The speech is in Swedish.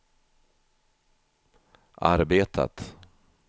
arbetat